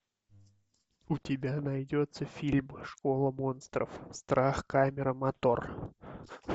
у тебя найдется фильм школа монстров страх камера мотор